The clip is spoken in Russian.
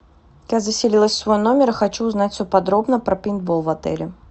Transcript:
я заселилась в свой номер и хочу узнать все подробно про пейнтбол в отеле